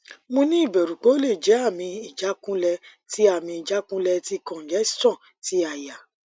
mo ni iberu pe ole je ami ijakunle ti ami ijakunle ti congestion ti aya